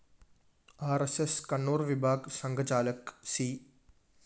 R S S Kannur‍ വിഭാഗ് സംഘചാലക് C